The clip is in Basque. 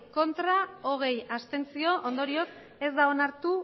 abstentzioak hogei ondorioz ez da onartu